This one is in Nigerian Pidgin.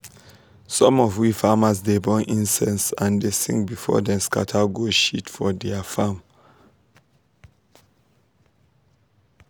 some of we farmers dey burn incense and dey sing before dem scatter goat shit for dia farm.